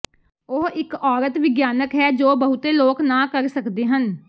ਉਹ ਇਕ ਔਰਤ ਵਿਗਿਆਨਕ ਹੈ ਜੋ ਬਹੁਤੇ ਲੋਕ ਨਾਂ ਕਰ ਸਕਦੇ ਹਨ